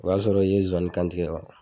O b'a sɔrɔ i ye zowani kantigɛ ka ban.